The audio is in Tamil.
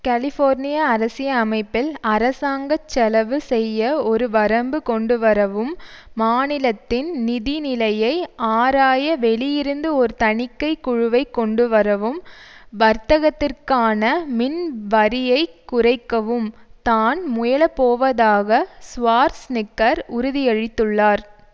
கெலிஃபோர்னிய அரசியலமைப்பில் அரசாங்க செலவு செய்ய ஒரு வரம்பு கொண்டு வரவும் மாநிலத்தின் நிதிநிலையை ஆராய வெளியிலிருந்து ஒரு தணிக்கை குழுவைக் கொண்டு வரவும் வர்த்தகத்திற்கான மின் வரியைக் குறைக்கவும் தான் முயலப்போவதாக ஷ்வார்ஸ்நிக்கர் உறுதியளித்துள்ளார்